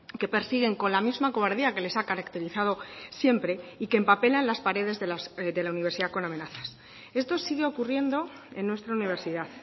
que persiguen con la misma cobardía que les ha caracterizado siempre y que empapelan las paredes de la universidad con amenazas esto sigue ocurriendo en nuestra universidad